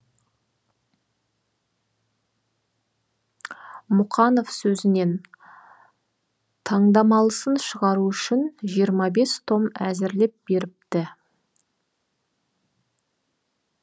мұқанов сөзінен таңдамалысын шығару үшін жиырма бес том әзірлеп беріпті